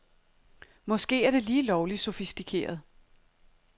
Måske er det lige lovligt sofistikeret.